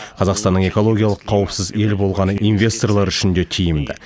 қазақстанның экологиялық қауіпсіз ел болғаны инвесторлар үшін де тиімді